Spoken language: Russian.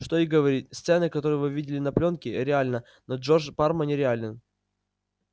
что и говорить сцена которую вы видели на плёнке реальна но джордж парма нереален